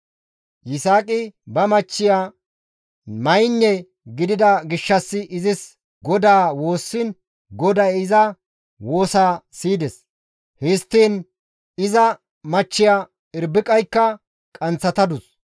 Yisaaqi ba machchiya maynne gidida gishshas izis GODAA woossiin GODAY iza woosaa siyides; histtiin iza machchiya Irbiqaykka qanththatadus.